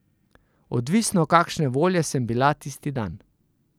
Odvisno kakšne volje sem bila tisti dan.